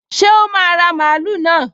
Ṣé o máa ra mààúlù náà?